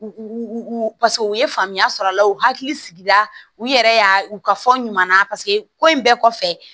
U paseke u ye faamuya sɔrɔ a la u hakili sigila u yɛrɛ y'a u ka fɔ ɲuman na paseke ko in bɛɛ kɔfɛ